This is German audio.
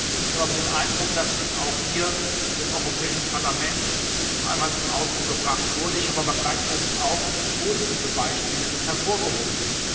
Ich habe den Eindruck, dass dies auch hier im Europäischen Parlament noch einmal zum Ausdruck gebracht wurde, ich habe aber gleichzeitig auch positive Beispiele hervorgehoben.